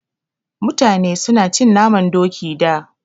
Mutane su na cin naman Doki da